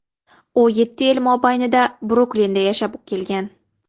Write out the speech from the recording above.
U yetti yil mobaynida Bruklinda yashab kelgan.